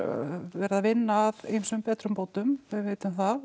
verið að vinna að ýmsum betrum bætum við vitum það